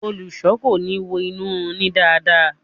Olùṣọ ko ni wo inu run ni dáadáa.